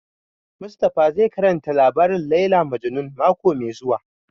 Mustapha zai karanta labarin Layla Majnun mako mai zuwa